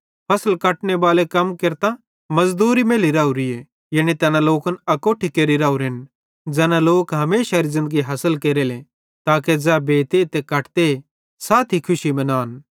फसल कटने बालन कम केरतां मज़दूरी मैल्ली राओरीए यानी तैना लोकन अकोट्ठे केरि राओरेन ज़ैना लोकन हमेशारी ज़िन्दगी हासिल केरेले ताके ज़ै बेते ते कटते साथी खुशी मनान